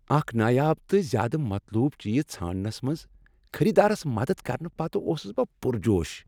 اکھ نایاب تہٕ زیادٕ مطلوب چیز ژھانٛڑنس منٛز خریدارس مدد کرنہٕ پتہٕ اوسس بہٕ پرجوش۔